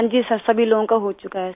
हाँजी सिर सभी लोगों का हो चुका है